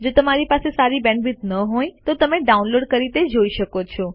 જો તમારી પાસે સારી બેન્ડવિડ્થ ન હોય તો તમે ડાઉનલોડ કરી તે જોઈ શકો છો